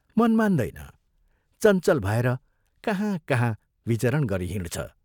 मन मान्दैन चञ्चल भएर कहाँ, कहाँ विचरण गरिहिँड्छ।